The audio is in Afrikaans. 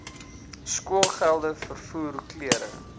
skoolgeld vervoer klere